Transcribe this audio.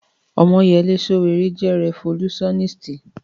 Ọmọ́yẹlé Sòwòrẹ́ jẹ́ rẹfolúsáníst